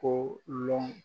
Ko lɔn